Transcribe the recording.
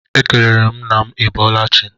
Ekelere m nna m I bọọla chi.